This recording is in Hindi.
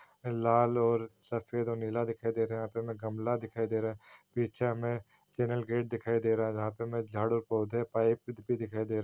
लाल और सफ़ेद और नीला दिखाई दे रहा है यहाँ पे हमें गमला दिखाई दे रहा है पीछे हमें चैनल गेट दिखाई दे रहा है जहाँ पे हमें झाड़ू पौधे पाइप भी दिखाई दे रहा है।